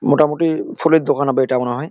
মোটামুটি ফুলের দোকান হবে এটা মনে হয়।